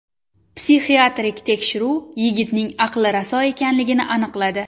Psixiatrik tekshiruv yigitning aqli raso ekanligini aniqladi.